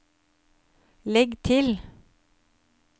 legg til